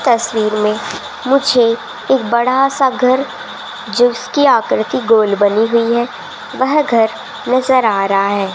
तस्वीर में मुझे एक बड़ा सा घर जिसकी आकृति गोल बनी हुई है वह घर नजर आ रहा है।